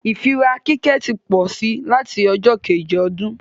ìfíra kíkẹ́ tí pósí lati ọjọ́ Kejì ọdún